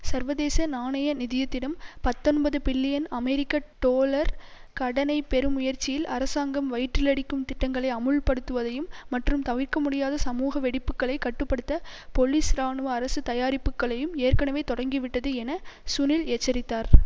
சர்வதேச நாணய நிதியத்திடம் பத்தொன்பது பில்லியன் அமெரிக்க டொலர் கடனை பெறும் முயற்சியில் அரசாங்கம் வயிற்றிலடிக்கும் திட்டங்களை அமுல்படுத்துவதையும் மற்றும் தவிர்க்க முடியாத சமூக வெடிப்புக்களை கட்டு படுத்த பொலிஸ்இராணுவ அரசு தயாரிப்புக்களையும் ஏற்கனவே தொடங்கிவிட்டது என சுனில் எச்சரித்தார்